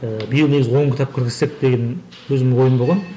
ііі биыл негізі он кітап кіргізсек деген өзімнің ойым болған